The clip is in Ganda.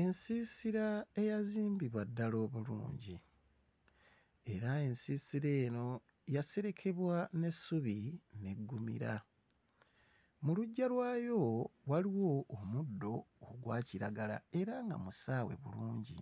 Ensiisira eyazimbibwa ddala obulungi era ensiisira eno yaserekebwa n'essubi n'eggumira. Mu luggya lwayo waliwo omuddo ogwa kiragala era nga musaawe bulungi.